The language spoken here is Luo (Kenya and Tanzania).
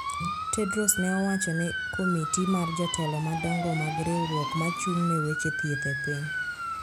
Tedros ne owacho ne komiti mar jotelo madongo mag riwruok mochung` ne weche thieth e piny